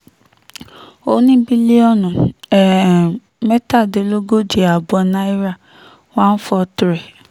ó ní bílíọ̀nù um mẹ́tàlélógóje ààbọ̀ náírà one four three